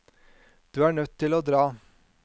Du er nødt til å dra.